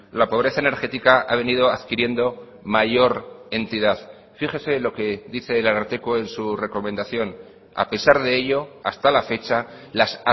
la pobreza energética ha venido adquiriendo mayor entidad fíjese lo que dice el ararteko en su recomendación a pesar de ello hasta la fecha las